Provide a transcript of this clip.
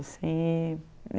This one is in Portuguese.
assim.